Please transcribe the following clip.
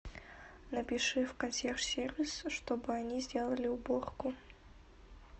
напиши в консьерж сервис чтобы они сделали уборку